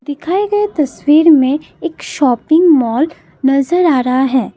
दिखाए गए तस्वीर में एक शॉपिंग मॉल नजर आ रहा है।